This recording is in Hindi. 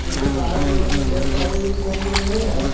इसके बाहर में थोड़े से पेड़ पौधे भी दिखाई दे रहे हैं।